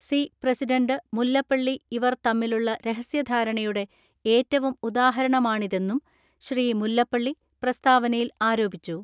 C president Mullappally ഇവർ തമ്മിലുള്ള രഹസ്യധാരണയുടെ ഏറ്റവും ഉദാഹരണമാണിതെന്നും ശ്രീ മുല്ലപ്പള്ളി പ്രസ്താവനയിൽ ആരോപിച്ചു.